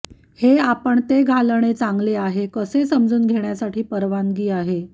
हे आपण ते घालणे चांगले आहे कसे समजून घेण्यासाठी परवानगी आहे